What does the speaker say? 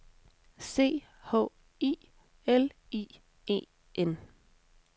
C H I L I E N